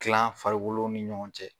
Tilan farikolow ni ɲɔgɔn cɛ.